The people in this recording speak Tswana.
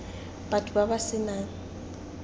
batho ba ba se nang